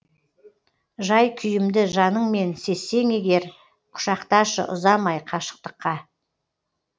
жай күйімді жаныңмен сезсең егер құшақташы ұзамай қашықтыққа